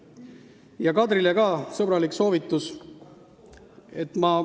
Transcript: Ka Kadrile on sõbralik soovitus.